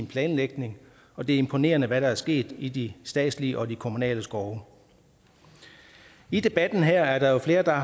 planlægningen og det er imponerende hvad der er sket i de statslige og de kommunale skove i debatten her er der flere der